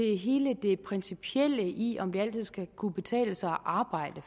hele det principielle i om det altid skal kunne betale sig at arbejde